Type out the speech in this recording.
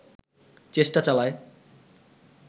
চেষ্টা চালায়